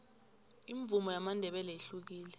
imvumo yamandebele ihlukile